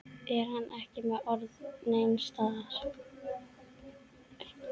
Er hann ekki með ör neins staðar?